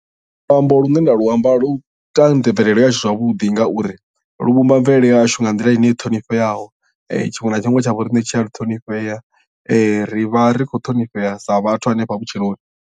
Luambo lu ne nda luamba lu ita mvelelo yahashu zwavhuḓi ngauri lu vhumba mvelele yahashu nga nḓila ine i ṱhonifheaho tshiṅwe na tshiṅwe tsha vho riṋe tshi a ṱhonifhea ri vha ri khou ṱhonifhea sa vhathu hanefha vhutshiloni.